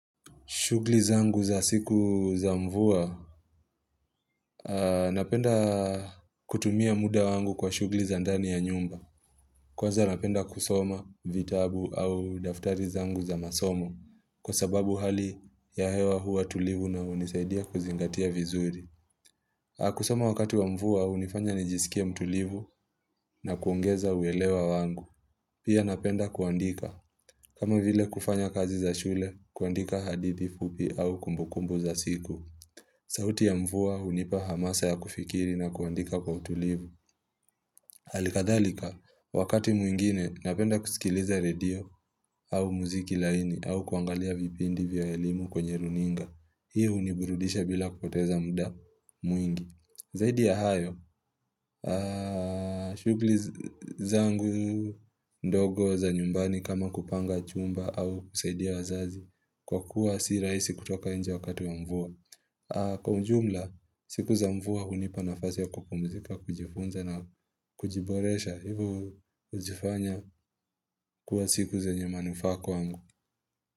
Shughuli zangu za siku za mvua, napenda kutumia muda wangu kwa shughuli zayndani ya nyumba. Kwanza napenda kusoma vitabu au daftari zangu za masomo. Kwa sababu hali ya hewa huwa tulivu na hunisaidia kuzingatia vizuri. Kusoma wakati wa mvua, hunifanya nijisikie mtulivu na kuongeza uelewa wangu. Pia napenda kuandika. Kama vile kufanya kazi za shule, kuandika hadithi fupi au kumbukumbu za siku. Sauti ya mvua hunipa hamasa ya kufikiri na kuandika kwa utulivu. Hali kadhalika, wakati mwingine napenda kusikiliza radio au muziki laini au kuangalia vipindi vya elimu kwenye runinga. Hii huniburudisha bila kupoteza muda mwingi. Zaidi ya hayo, shughuli zangu ndogo za nyumbani kama kupanga chumba au kusaidia wazazi kwa kuwa si rahisi kutoka nje wakati ya mvua. Kwa ujumla, siku za mvua hunipa nafasi ya kupumzika kujifunza na kujiboresha hivo hujifanya kuwa siku zenye manufaa kwangu.